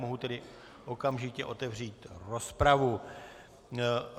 Mohu tedy okamžitě otevřít rozpravu.